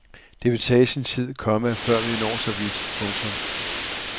Det vil tage sin tid, komma før vi når så vidt. punktum